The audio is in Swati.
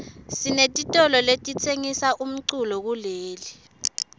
sinetitolo letitsengisa umculo kuleli